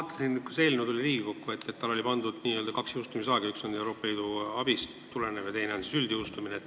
Kui see eelnõu Riigikokku tuli, siis ma vaatasin, et talle oli pandud kaks jõustumisaega: üks tuleneb Euroopa Liidu abist ja teine on üldise jõustumise aeg.